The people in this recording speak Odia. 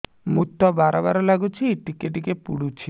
ମୁତ ବାର୍ ବାର୍ ଲାଗୁଚି ଟିକେ ଟିକେ ପୁଡୁଚି